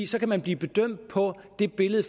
så kan man blive bedømt på det billede